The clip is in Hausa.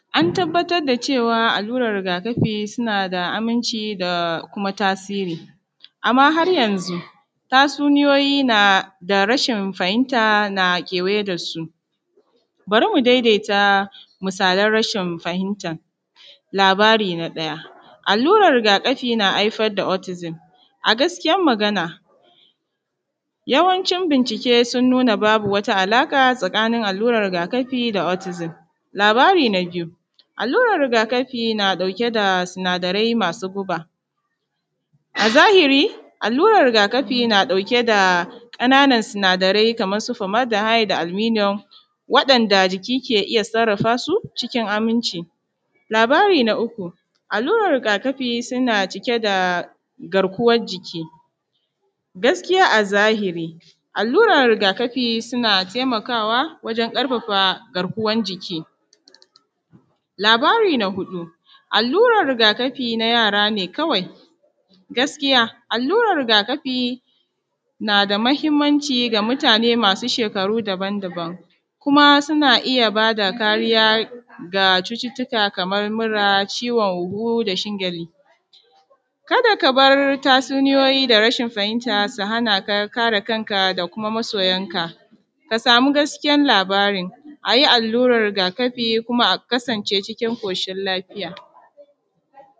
An tabbatar da cewa alluran rigakafi suna da aminci da kuma tasiri amma har yanzu tastsuniyoyi nada rashin fahimta na kewaye da su. Bari mu daidaita misalan rashin fahimta labari na ɗaya alluran rigakafi na haifar da otizin, a gaskiyan magana yawancin bincike suna da wata alaƙa tsakanin alluran rigakafi da otizin, labari na biyu, alluran rigakafi na ɗauke da sinadarai masu guba, a zahiri alluran rigakafi na ɗauke da ƙananan sinadarai kamar su fomadahai da al’miniyom waɗanda jiki ke iya sarrafa cikin aminci. Labari na uku alluran rigakafi, suna cike da garkuwan jiki, gaskiya a zahri alluran rigakafi suna taimakawa wajen ƙarfafa garkuwan jiki. Labari na huɗu alluran rigakafi na yara ne kawai, gaskiya alluran rigakafi na da mahinmanci ga mutane masu shekaru daban-daban, kuma suna iya ba da kariya ga cututtuka kaman mura, ciwon huhu, dashin gyale. Ka da ka bari tatsuniyoyi da rashin fahimta su hana ka kare kanka da kuma masoyanka, ka samu gaskiyar labari a yi alluran rigakafi kuma a kasance cikin ƙoshin lafiya.